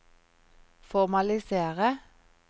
formalisere